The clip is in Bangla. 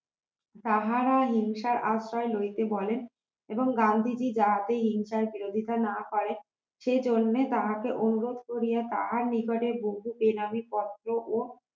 তাহারা হিংসার আশ্রয় লইতে বলেন এবং গান্ধীজী যাতে হিংসার বিরোধিতা না করেন সেজন্য তাহাকে অনুরোধ করিয়া তাহার নিকটে বহু বেনামি পত্র ও